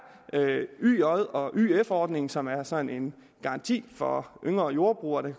yj ordningen som er sådan en garanti for yngre jordbrugere der